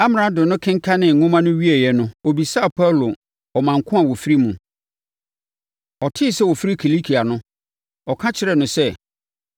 Amrado no kenkanee nwoma no wieeɛ no ɔbisaa Paulo ɔman ko a ɔfiri mu. Ɔtee sɛ ɔfiri Kilikia no, ɔka kyerɛɛ no sɛ.